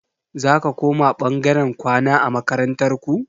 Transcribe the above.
Zaka koma ɓangaren kwana a makarantar ku?